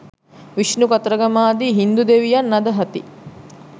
විෂ්ණු කතරගම ආදී හින්දු දෙවියන් අදහති.